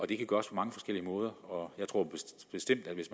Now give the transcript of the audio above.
det kan gøres på mange forskellige måder og jeg tror bestemt at hvis